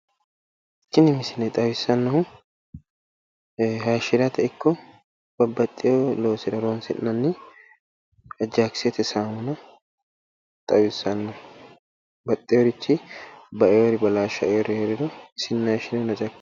Tini misile xawissannohu hashshirate ikko babbaxxeewo loosira horonsi'nanni ajjakisete saamuna xawissanno baxxewori baeewori balaashaeewori hee'riro isinni haashshiniro naxa ikkanno.